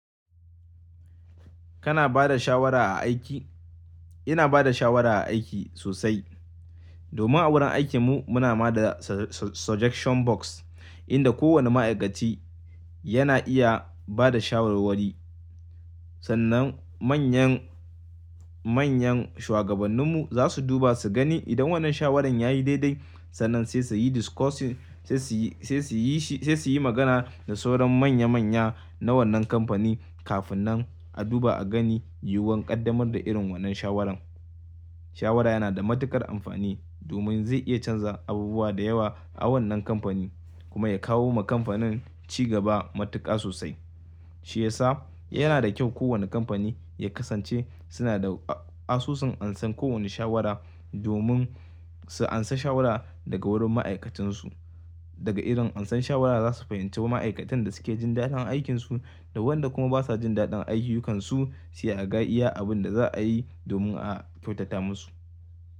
Kana bada shawara a aiki? Ina bada shawara a aiki sosai. Domin a wurin aikinmu muna ma da suje-suje-suggestion box inda kowanne ma'aikaci yana iya bada shawarwari. Sannan manyan, manyan shuwagabanninmu za su duba su gani idan wannan shawarar yayi daidai, sannan sai suyi discussion, sai suyi, sai suyi shi, sai suyi magana da sauran manya manya na wannan kamfani kafin nan a duba a gani yiwuwar ƙaddamar da irin wannan shawaran. Shawara yana da matuƙar amfani domin zai iya canza abubuwa da yawa a wannan kamfani kuma ya kawo ma kamfanin ci gaba matuƙa sosai. Shi yasa, yana da kyau kowana kamfani ya kasance suna da asusun ansan kowana shawara domin su ansa shawara daga wurin ma'aikatansu. Daga irin ansan shawara za su fahimci ma'aikatan da suke jin daɗin aikinsu da waɗanda kuma basa jin daɗin ayyukansu, sai a ga iya abin da za ayi domin a kyautata musu.